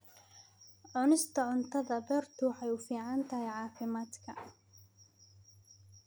Cunista cuntada beertu waxay u fiican tahay caafimaadka.